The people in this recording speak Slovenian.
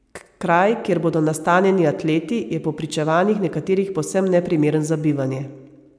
Kraj, kjer bodo nastanjeni atleti, je po pričevanjih nekaterih povsem neprimeren za bivanje.